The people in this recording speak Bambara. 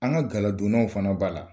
An ka galadonnaw fana b'a la.